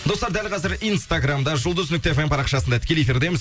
достар дәл қазір инстаграмда жұлдыз нүкте фм парақшасында тікелей эфирдеміз